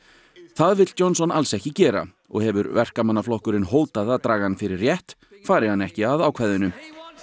það vill Johnson alls ekki gera og hefur Verkamannaflokkurinn hótað að draga hann fyrir rétt fari hann ekki að ákvæðinu